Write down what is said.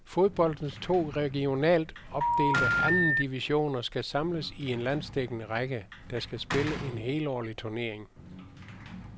Fodboldens to regionalt opdelte anden divisioner skal samles i en landsdækkende række, der skal spille en helårlig turnering.